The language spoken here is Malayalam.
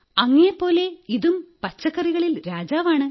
അങ്ങയെപ്പോലെ ഇതും പച്ചക്കറികളിൽ രാജാവാണ്